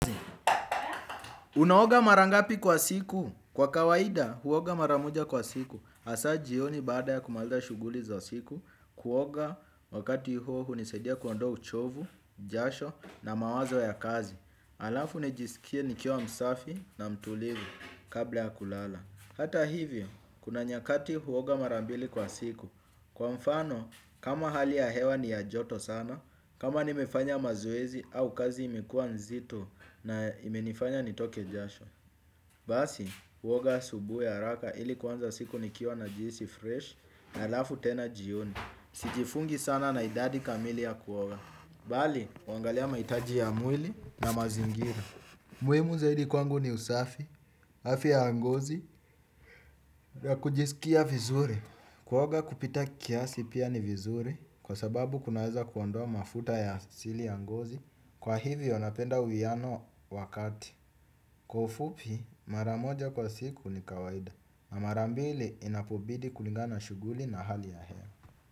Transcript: Unaoga mara ngapi kwa siku. Kwa kawaida huoga mara moja kwa siku. Asa jioni baada ya kumaliza shughuli za siku kuoga wakati huo hunisaidia kuondoa uchovu, jasho na mawazo ya kazi. Alafu nijisikie nikiwa msafi na mtulivu kabla ya kulala. Hata hivyo, kuna nyakati huoga mara mbili kwa siku. Kwa mfano, kama hali ya hewa ni ya joto sana, kama nimefanya mazoezi au kazi imekuwa nzito na imenifanya nitoke jasho. Basi, huoga asubuhi araka ili kuanza siku nikiwa najihisi fresh alafu tena jioni. Sijifungi sana na idadi kamili ya kuoga. Bali, uangalia maitaji ya mwili na mazingira. Muhimu zaidi kwangu ni usafi, afya ya ngozi, na kujisikia vizuri. Kuoga kupita kiasi pia ni vizuri kwa sababu kunaweza kuondoa mafuta ya asili ya ngozi kwa hivyo napenda uwiano wakati. Kwa ufupi mara moja kwa siku ni kawaida na mara mbili inapobidi kulingana na shughuli na hali ya hewa.